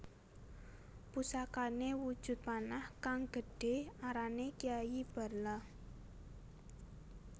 Pusakane wujud panah kang gedhe arane Kiai Barla